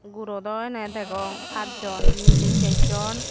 guro daw ene degong pajjon mili sejjon.